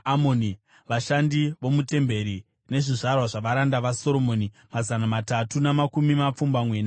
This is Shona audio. Vashandi vomutemberi nezvizvarwa zvavaranda vaSoromoni, mazana matatu namakumi mapfumbamwe navaviri.